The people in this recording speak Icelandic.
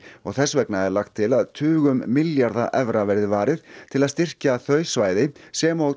og þess vegna er lagt til að tugum milljarða evra verði varið til að styrkja þau svæði sem og